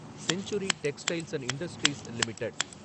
century Textiles and Industries limited